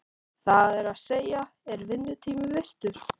Það er að segja, er vinnutími virtur?